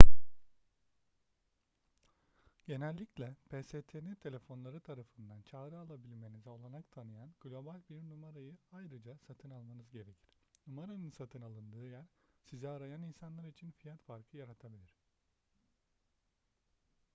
genellikle pstn telefonları tarafından çağrı alabilmenize olanak tanıyan global bir numarayı ayrıca satın almanız gerekir numaranın satın alındığı yer sizi arayan insanlar için fiyat farkı yaratabilir